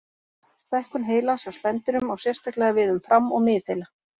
Stækkun heilans hjá spendýrum á sérstaklega við um fram- og miðheila.